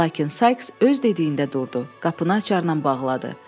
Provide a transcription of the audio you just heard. Lakin Sayks öz dediyində durdu, qapını açarla bağladı.